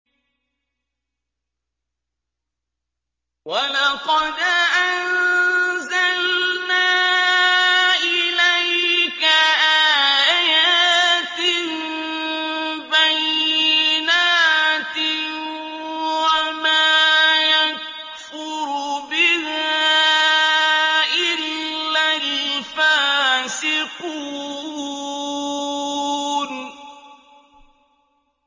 وَلَقَدْ أَنزَلْنَا إِلَيْكَ آيَاتٍ بَيِّنَاتٍ ۖ وَمَا يَكْفُرُ بِهَا إِلَّا الْفَاسِقُونَ